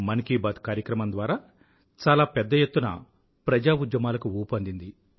మన్ కీ బాత్ కార్యక్రమం ద్వారా చాలా పెద్ద ఎత్తున ప్రజా ఉద్యమాలకు ఊపు అందింది